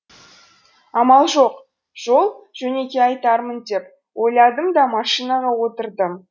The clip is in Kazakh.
амал жоқ жол жөнекей айтармын деп ойладым да машинаға отырдым